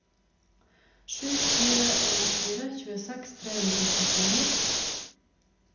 sju fire en fire tjueseks tre hundre og trettini